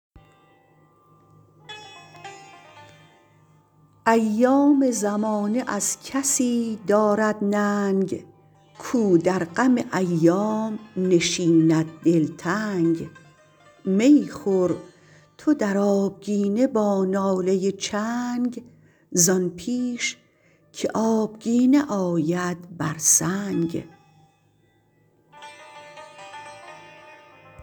ایام زمانه از کسی دارد ننگ کاو در غم ایام نشیند دلتنگ می خور تو در آبگینه با ناله چنگ زآن پیش که آبگینه آید بر سنگ